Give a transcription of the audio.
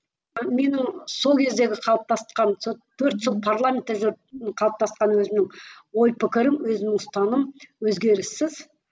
менің сол кездегі қалыптасқан сол төрт жыл парламентте жүріп қалыптасқан өзімнің ой пікірім өзімнің ұстанымым өзгеріссіз